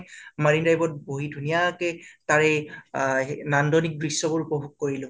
মাৰিণ drive ত বহি ধুনীয়াকে তাৰে আ নান্দনিক দ্শ্য়বোৰ উপভোগ কৰিলো